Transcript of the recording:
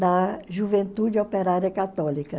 da juventude operária católica.